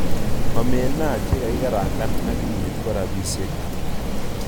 Omena chekakikarankan ak kimnyet ko rapishek ata?